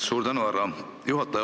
Suur tänu, härra juhataja!